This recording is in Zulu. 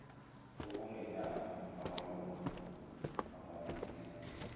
okungenani amalunga amabili